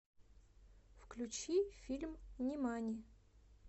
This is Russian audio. включи фильм нимани